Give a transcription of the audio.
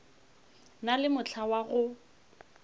na le mohla wa go